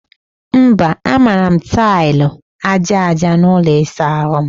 Mba, a mara m taịlị aja aja n'ụlọ ịsa ahụ m